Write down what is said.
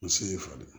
N se y'i falen